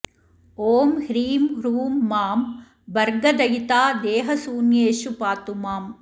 ॐ ह्रीं ह्रूं मां भर्गदयिता देहशून्येषु पातु माम्